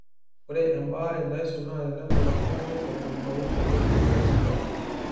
ore ebaare naisul naa tenepal oltungani orkumpau tenebo osigara